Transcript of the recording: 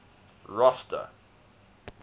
rosta